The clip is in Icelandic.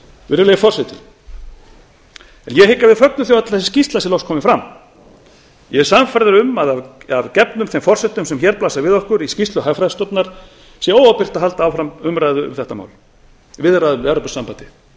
virðulegi forseti ég hygg að við fögnum því öll að þessi skýrsla er nú komin fram ég er sannfærður um að af gefnum þeim forsendum sem blasa við okkur í skýrslu hagfræðistofnunar sé óábyrgt að halda áfram viðræðum við evrópusambandið